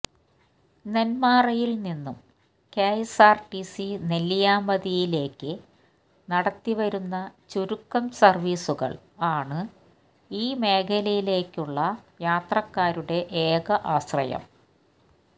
നെന്മാറയിൽ നിന്നും കെഎസ്ആർടിസി നെല്ലിയാമ്പതിയിലേയ്ക്ക് നടത്തിവരുന്ന ചുരുക്കം സർവ്വീസുകൾ ആണ് ഈ മേഖലയിലേയ്ക്കുള്ള യാത്രക്കാരുടെ ഏക ആശ്രയം